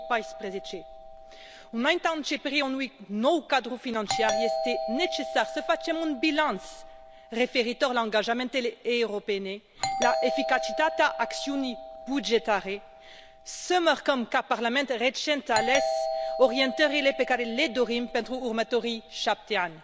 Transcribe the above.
2014. Înaintea începerii unui nou cadru financiar este necesar să facem un bilanț referitor la angajamentele europene, la eficacitatea acțiunii bugetare, să marcăm ca parlament recent ales orientările pe care le dorim pentru următorii șapte ani.